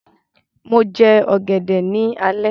Mo jẹ ọ̀gẹ̀dẹ̀ ní alẹ́